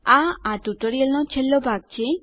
આ આ ટ્યુટોરીયલનો છેલ્લો ભાગ છે